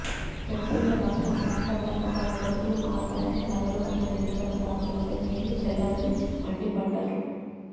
ప్రత్యేక రాష్ట్రం ఏర్పడ్డాక తమ బతుకులు మారతాయని కలలు కన్న నిరుపేదల ఆశలపై నీళ్లు చల్లారని మండిపడ్డారు